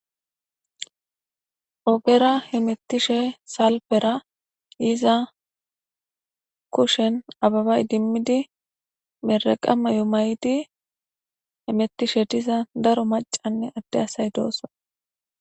Ogera hemetishe salpera yiza kushen abeba idimid mereqa mayo mayid hemetishe diza daro macanne Ade asay dosona.